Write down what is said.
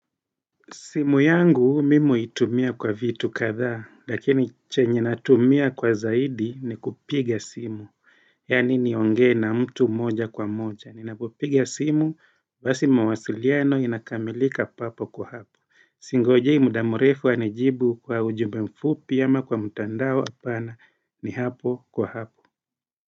Simu yangu mimi huitumia kwa vitu kadhaa lakini chenye natumia kwa zaidi ni kupiga simu Yani niongee na mtu moja kwa moja, Ninapopiga simu basi mawasiliano inakamilika papo kwa hapo. Singojei muda mrefu anijibu kwa ujumbe mfupi ama kwa mtandao, hapana. Ni hapo kwa hapo.